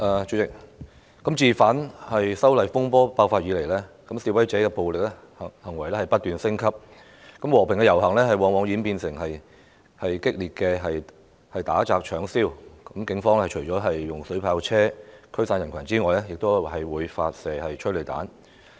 主席，自反修例風波爆發以來，示威者的暴力行為不斷升級，和平遊行往往演變為激烈的打砸搶燒，警方除了使用水炮車驅散人群外，亦會發射催淚彈。